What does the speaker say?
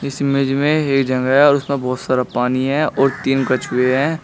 इस इमेज में ये जगह और उसमें बहुत सारा पानी है और तीन कछुए हैं।